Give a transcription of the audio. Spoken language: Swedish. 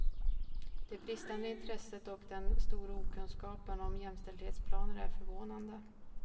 Det bristande intresset och den stora okunskapen om jämställdhetsplaner är förvånande.